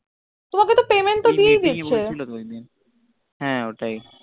তোমাকে তো payment তো দিয়ে দিছে হ্য়াঁ ওই তাই